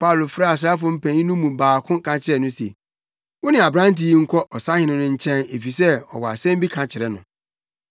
Paulo frɛɛ asraafo mpanyin no mu baako ka kyerɛɛ no se, “Wo ne aberante yi nkɔ ɔsahene no nkyɛn efisɛ ɔwɔ asɛm bi ka kyerɛ no.”